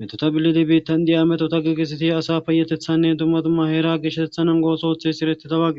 methotha bilona biihtthan diya methotha giigissidi asa payatheththaanne dumma dumma heeraa geshshatheththaa nangguwaa oosuwaa ooththees ereththidawa.